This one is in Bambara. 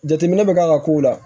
Jateminɛ bɛ k'a ka kow la